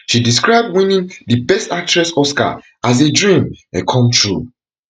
she describe winning di best actress oscar as a dream um come true